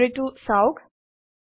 library টো চাওক